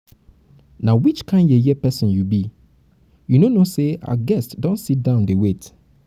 na which kin yeye person you be? you no know say our guests don sit down dey wait